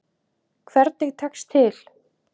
Hvernig tekst til?